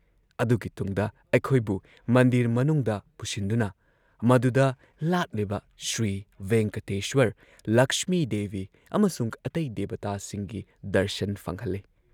ꯑꯗꯨꯒꯤ ꯇꯨꯡꯗ ꯑꯩꯈꯣꯏꯕꯨ ꯃꯟꯗꯤꯔ ꯃꯅꯨꯡꯗ ꯄꯨꯁꯤꯟꯗꯨꯅ ꯃꯗꯨꯗ ꯂꯥꯠꯂꯤꯕ ꯁ꯭ꯔꯤꯚꯦꯡꯀꯇꯦꯁ꯭ꯋꯔ, ꯂꯛꯁꯃꯤꯗꯦꯕꯤ ꯑꯃꯁꯨꯡ ꯑꯇꯩ ꯗꯦꯕꯇꯥꯁꯤꯡꯒꯤ ꯗꯔꯁꯟ ꯐꯪꯍꯜꯂꯦ ꯫